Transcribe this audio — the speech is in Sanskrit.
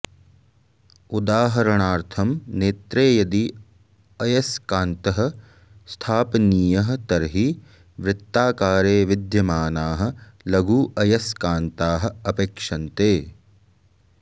उदाहरणार्थं नेत्रे यदि अयस्कान्तः स्थापनीयः तर्हि वृत्ताकारे विद्यमानाः लघु अयस्कान्ताः अपेक्षन्ते